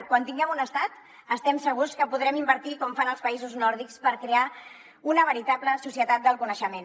quan tinguem un estat estem segurs que podrem invertir com fan els països nòrdics per crear una veritable societat del coneixement